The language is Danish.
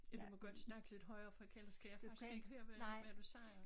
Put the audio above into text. Ja du må godt snakke lidt højere for kan ellers kan jeg faktisk ikke høre hvad du hvad du siger